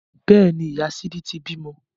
Bẹ́ẹ̀ni, ìyá sídí ti bímọ